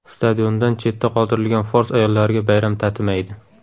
Stadiondan chetda qoldirilgan fors ayollariga bayram tatimaydi.